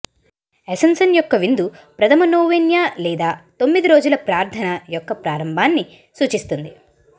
ascension యొక్క విందు ప్రథమ నోవెన్యా లేదా తొమ్మిది రోజుల ప్రార్థన యొక్క ప్రారంభాన్ని సూచిస్తుంది